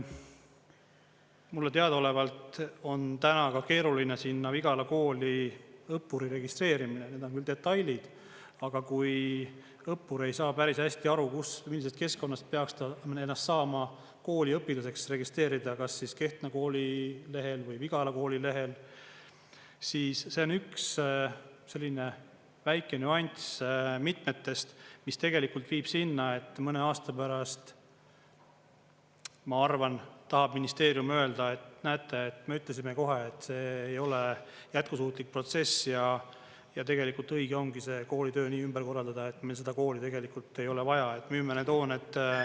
Mulle teadaolevalt on täna ka keeruline sinna Vigala kooli õppuri registreerimine, need on küll detailid, aga kui õppur ei saa päris hästi aru, kus, millisest keskkonnast peaks ta ennast saama kooli õpilaseks registreerida, kas Kehtna kooli lehel või Vigala kooli lehel, siis see on üks selline väike nüanss mitmetest, mis tegelikult viib sinna, et mõne aasta pärast, ma arvan, tahab ministeerium öelda, et näete, me ütlesime kohe, et see ei ole jätkusuutlik protsess ja tegelikult õige ongi see kooli töö nii ümber korraldada, et meil seda kooli tegelikult ei ole vaja, et müüme need hooned …